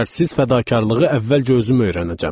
Qeyd şərtsiz fədakarlığı əvvəlcə özüm öyrənəcəm.